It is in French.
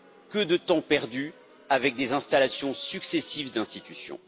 Que de temps perdu avec des installations successives d'institutions.